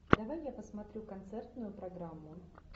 давай я посмотрю концертную программу